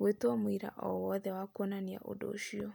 gwĩta mũira o wothe wa kuonania ũndũ ũcio.